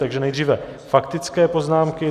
Takže nejdříve faktické poznámky.